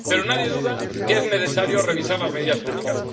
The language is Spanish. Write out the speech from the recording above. Pero nadie duda de que es necesario revisar las medidas técnicas.